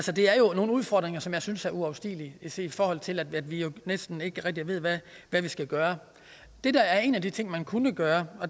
nogle udfordringer som jeg synes er uoverstigelige set i forhold til at vi jo næsten ikke rigtig ved hvad vi skal gøre en af de ting man kunne gøre